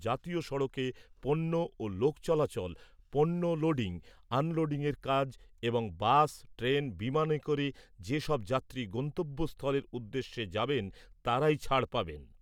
জাতীয় সড়কে পণ্য ও লোক চলাচল, পণ্য লোডিং, আনলোডিংয়ের কাজ এবং বাস, ট্রেন, বিমানে করে যে সব যাত্রী গন্তব্যস্থলের উদ্দেশ্যে যাবেন তাঁরাই ছাড় পাবেন।